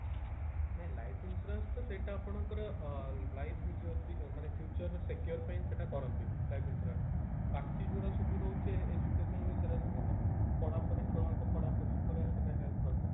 ନାଇଁ life insurance ତ ସେଇଟା ଆପଣଙ୍କର ଅ life ମାନେ feature ର secure ପାଇଁ ସେଟା କରନ୍ତି life insurance ବାକି ଯୋଉଟା ସବୁ ରହୁଛି education ସେଟା ସବୁତ ପଢାପଢି ଛୁଆଙ୍କ ପଢାପଢି ଉପରେ help କରିବ